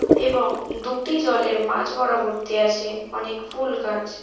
এবং দুটি জলের মাঝ বরাবর্তি আছে অনেক ফুল গাছ।